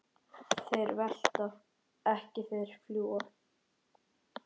Þeir velta ekki, þeir fljúga.